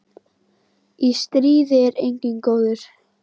Í stríði er enginn góður.